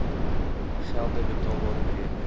gelde betaalbar bereken